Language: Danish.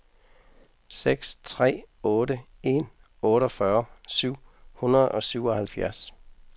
seks tre otte en otteogfyrre syv hundrede og syvoghalvfjerds